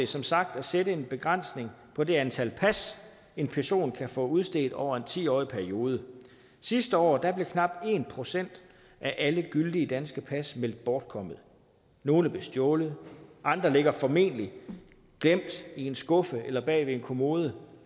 som sagt at sætte en begrænsning på det antal pas en person kan få udstedt over en ti årig periode sidste år blev knap en procent af alle gyldige danske pas meldt bortkommet nogle blev stjålet andre ligger formentlig glemt i en skuffe eller bag ved en kommode